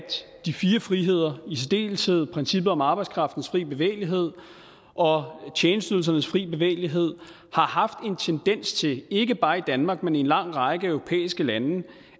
de fire friheder i særdeleshed princippet om arbejdskraftens fri bevægelighed og tjenesteydelsernes frie bevægelighed har haft en tendens til ikke bare i danmark men i en lang række europæiske lande